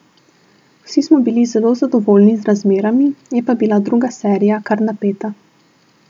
Vsi smo bili zelo zadovoljni z razmerami, je pa bila druga serija kar napeta.